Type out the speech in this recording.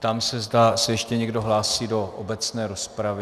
Ptám se, zda se ještě někdo hlásí do obecné rozpravy.